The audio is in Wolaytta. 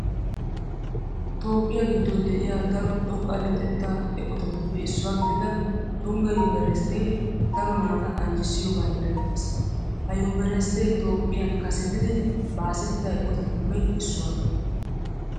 Toophphiya giddon de'iya daro xoqqa luxettaa eqotatuppe issuwa gidida tungga yunveresttee daro naata anjjissiyogan erettees. Ha yunveresttee Toophphiyan kasetidi baasettida eqotatuppe issuwa.